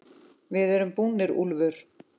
VIÐ ERUM BÚNIR, ÚLFUR!